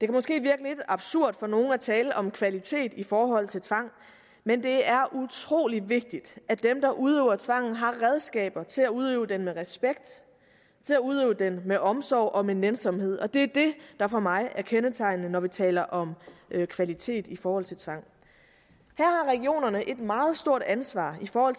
måske virke lidt absurd for nogle at tale om kvalitet i forhold til tvang men det er utrolig vigtigt at dem der udøver tvang har redskaber til at udøve den med respekt til at udøve den med omsorg og med nænsomhed det er det der for mig at kendetegnende når vi taler om kvalitet i forhold til tvang her har regionerne et meget stort ansvar for